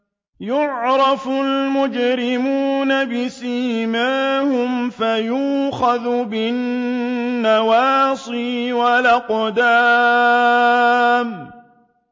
يُعْرَفُ الْمُجْرِمُونَ بِسِيمَاهُمْ فَيُؤْخَذُ بِالنَّوَاصِي وَالْأَقْدَامِ